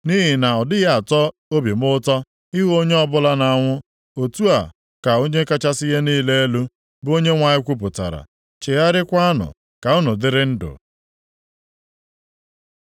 Nʼihi na ọ dịghị atọ obi m ụtọ ịhụ na onye ọbụla na-anwụ, otu a ka Onye kachasị ihe niile elu, bụ Onyenwe anyị kwupụtara. Chegharịakwanụ, ka unu dịrị ndụ!